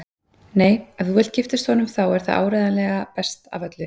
Nei, ef þú vilt giftast honum þá er það áreiðanlega best af öllu.